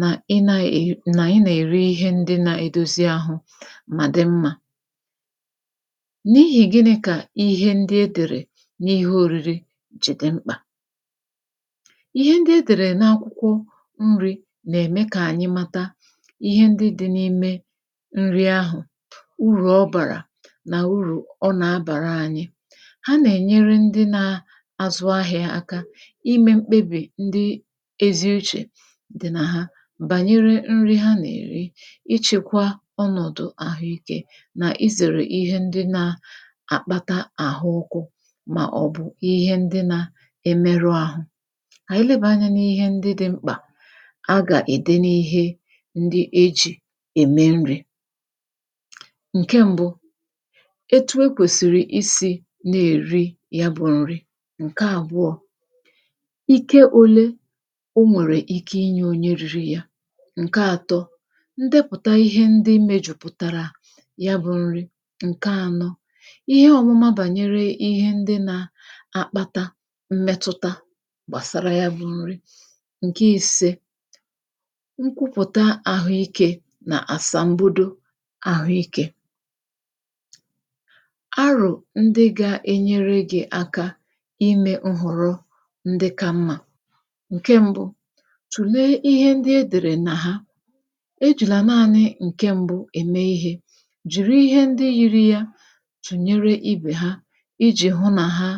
nà ịnā-èr, nà ịnà-èri ihe ndị nā-edozi ahụ mà dị mmā n’iyì gịnị̄ kà ihe ndị e dèrè n’akwụkwọ nrī jì dị mkpà? ihe ndị e dèrè n’akwụkwọ nrī nà-ème kà ànyị mata ihe ndị dị̄ n’ime nri ahụ̀ urù ọ bàrà nà urù ọ nà-abàra ānyị̄ ha nà-ènyere ndị nā-azụ ahị̄ā aka imē nkpebì ndị ezi uchè dị nà ha, bànyere nri ha nà-èri ichēkwa ọnọ̀dụ̀ àhụikē nà isèrè ihe ndị nā- àkpata àhụọkụ màọ̀bụ̀ ihe ndị nā- emerụ āhụ̄, kà ànyị lebàa anyā n’ihe ndị dị̄ mkpà a gà-ède n’ihe ndị ejì ème nrī ǹke m̄bụ̄ etu e kwèsìrì isī na-èri ya bụ̄ nri ǹke àbụọ̄ ike ōlē o nwèrè ike inyē onye rīri ya ǹke ātō; ndepụ̀ta ihe ndị mējùpụ̀tàrà ya bụ̄ nri, ǹke ānọ̄; ihe ọ̄mụma bànyere ihe ndị nā-akpata mmetụta gbàsara ya bụ̄ nri ǹke īsē; nkwupụ̀ta àhụikē nà àsàmbodo àhụikē arò ndị gā-enyere gị̄ aka imē ịghọ̀rọ ndị kā mmā, ǹke m̄bụ̄; tùlee ihe ndị e dèrè nà ha ejìlà naānị ǹke m̄bụ̄ ème ihē, jìri ihe ndị yiri ya tùnyere ibè ya ijì hụ nà ha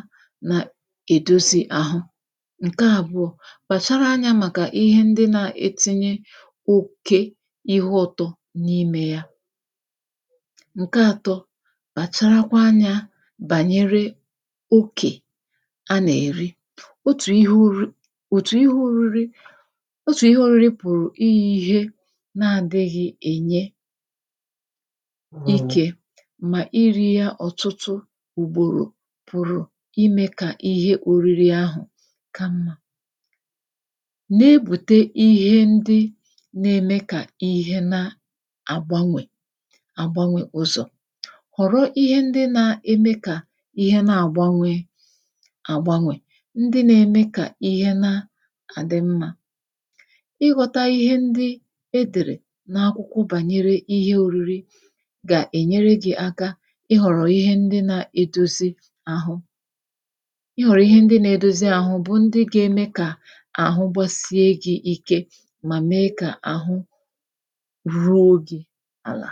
nà-èdozi àhụ ǹke àbụọ̄; kpàchara anyā màkà ihe ndị nā-etinye oke ihe ụ̄tọ̄ n’imē ya ǹke ātọ̄; kpàcharakwa anyā bànyere okè a nà-èri, otù ihe ōri òtù ihe ōriri otù ihe ōriri pụ̀rụ̀ iyī ihe na-ādịghị̄ ènye ikē, mà irī ya ọ̀tụtụ ùgbòrò pụ̀rụ̀ imē kà ihe ōriri àhụ ka mmā na-èbute ihe ndị na-eme kà ihe na-àgbanwè àgbanwè ụzọ̀, ghọ̀rọ ihe ndị na-eme kà ihe na-àgbanwē agbanwè, ndị na-eme kà ihe na-àdị mmā ịghọ̄tā ihe ndị e dèrè n’akwụkwọ bànyere ihe ōriri ga-enyere gị̄ aka ịghọ̀rọ̀ ihe ndị na-edozi āhụ̄ i wère ihe ndị na-edozi àhụ bụ ndị ga-eme kà àhụ gbasie gị̄ ike mà mee kà àhụ ruo gī àlà